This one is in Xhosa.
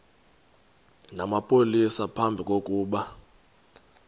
namapolisa phambi kokuba